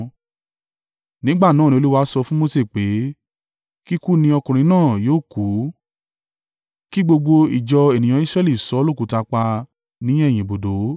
Nígbà náà ni Olúwa sọ fún Mose pé, “Kíkú ni ọkùnrin náà yóò kú kí gbogbo ìjọ ènìyàn Israẹli sọ ọ́ lókùúta pa ní ẹ̀yìn ibùdó.”